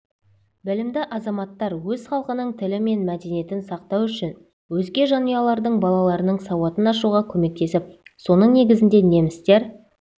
білімді азаматтар өз халқының тілі мен мәдениетін сақтау үшін өзге жанұялардың балаларының сауатын ашуға көмектесіп соның негізінде немістер